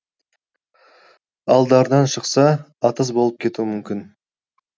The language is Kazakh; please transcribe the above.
алдарынан шықса атыс боп кетуі мүмкін